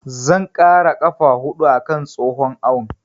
Zan ƙara ƙafa huɗu a kan tsohon awon.